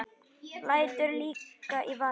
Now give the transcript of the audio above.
Lætur lyklana í vasann.